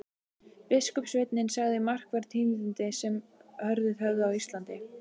Biskupssveinninn sagði markverð tíðindi sem orðið höfðu á Íslandi.